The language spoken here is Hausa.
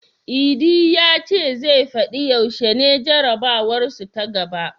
Idi ya ce zai fadi yaushe ne jarabawarsu ta gaba.